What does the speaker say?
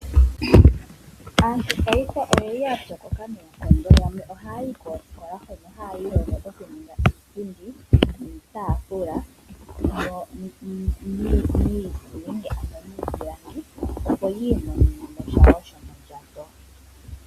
Aantu paife oya pyokoka noonkondo yamwe oha yayi koosikola hono haya kiilonga nkene yena okunduluka iipundi, iitafula taya longitha iipilangi, opo yi imonenesha shomondjato.